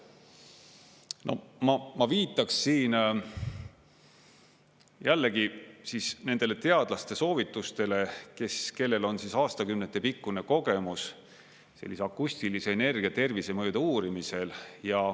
Ma viitaks siin jällegi siis nendele teadlaste soovitustele, kellel on aastakümnete pikkune kogemus sellise akustilise energia tervisemõjude uurimisel.